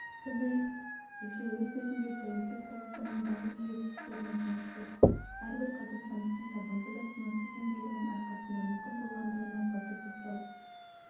сондай-ақ елші өз сөзінде тәуелсіз қазақстанның барлық жетістіктері мен жеңістері әрбір қазақстандықтың табанды да тынымсыз еңбегінің арқасында мүмкін болғандығына баса тоқталды